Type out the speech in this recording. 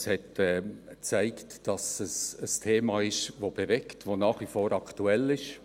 Es hat gezeigt, dass es ein Thema ist, das bewegt, das nach wie vor aktuell ist.